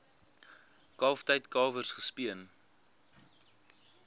kalftyd kalwers gespeen